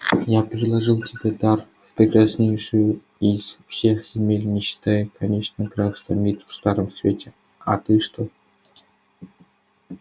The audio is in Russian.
я предложил тебе в дар прекраснейшую из всех земель не считая конечно графства мит в старом свете а ты что